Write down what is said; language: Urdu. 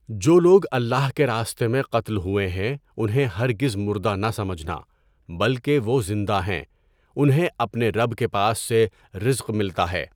جو لوگ اللہ کے راستے میں قتل ہوئے ہیں انہیں ہرگز مردہ نہ سمجھنا، بلکہ وہ زندہ ہیں، انہیں اپنے رب کے پاس سے رزق ملتا ہے۔